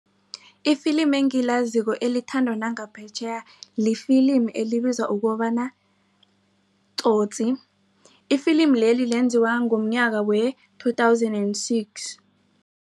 Ifilimi engilaziko elithandwa nangaphetjheya lifilimi elibizwa ukobana Tsotsi ifilimi leli lenziwa ngomnyaka we-two thousand and six.